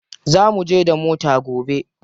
Za muje da mota gobe.